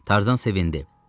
Tarzan sevindi.